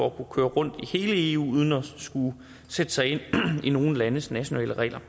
at kunne køre rundt i hele eu uden at skulle sætte sig ind i nogle landes nationale regler